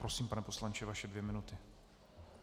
Prosím, pane poslanče, vaše dvě minuty.